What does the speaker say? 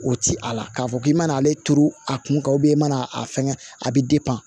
O ti ala k'a fɔ k'i mana ale turu a kun ka i mana a fɛngɛ a bi